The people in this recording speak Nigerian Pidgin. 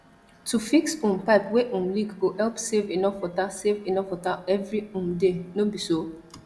to fix um pipe wey um leak go help save enough water save enough water every um day no be so